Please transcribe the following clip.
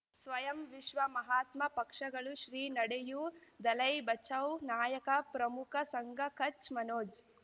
ಸ್ವಯಂ ವಿಶ್ವ ಮಹಾತ್ಮ ಪಕ್ಷಗಳು ಶ್ರೀ ನಡೆಯೂ ದಲೈ ಬಚೌ ನಾಯಕ ಪ್ರಮುಖ ಸಂಘ ಕಚ್ ಮನೋಜ್